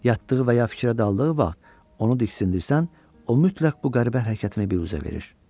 Yatdığı və ya fikrə daldığı vaxt onu diksindirərsən, o mütləq bu qəribə hərəkətini büruzə verir.